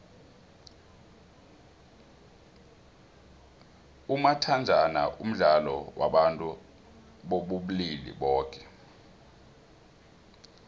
umathajhana mdlalo wabantu bobulili boke